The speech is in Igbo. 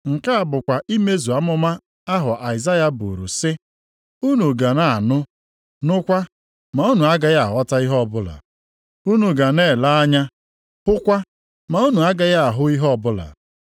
Nke a bụkwa imezu amụma ahụ Aịzaya buru sị, “ ‘Unu ga na-anụ, nụkwa, ma unu agaghị aghọta ihe ọbụla. Unu ga na-ele anya, hụkwa, ma unu agaghị ahụ ihe ọbụla.